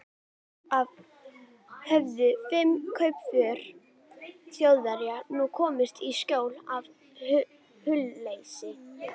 Alls höfðu fimm kaupför Þjóðverja nú komist í skjól af hlutleysi